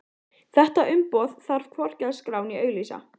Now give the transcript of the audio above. Þetta umboð þarf hvorki að skrá né auglýsa.